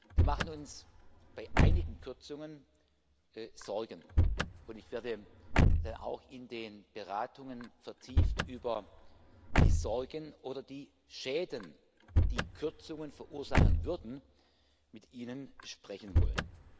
Wir machen uns bei einigen Kürzungen Sorgen, und ich werde auch in den Beratungen vertieft über die Sorgen oder die Schäden, die Kürzungen verursachen würden, mit Ihnen sprechen wollen.